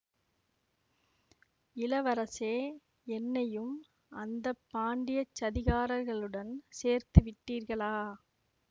இளவரசே என்னையும் அந்த பாண்டியச் சதிகாரர்களுடன் சேர்த்து விட்டீர்களா